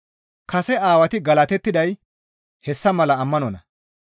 Kase Aawati galatettiday hessa mala ammanonna.